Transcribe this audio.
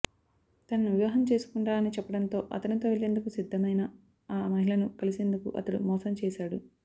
తనను వివాహం చేసుకుంటానని చెప్పడంతో అతనితో వెళ్లేందుకు సిద్ధమైన ఆ మహిళను కలిసేందుకు అతడు మోసం చేశాడు